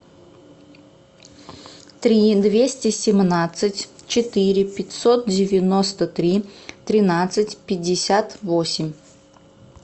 три двести семнадцать четыре пятьсот девяносто три тринадцать пятьдесят восемь